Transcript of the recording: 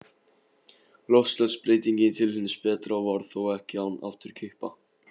Loftslagsbreytingin til hins betra varð þó ekki án afturkippa.